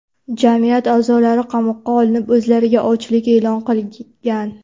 Jamiyat a’zolari qamoqqa olinib, o‘zlariga ochlik e’lon qilgan.